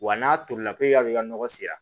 Wa n'a tolila pewu ka n'a kɛ ka nɔgɔ sera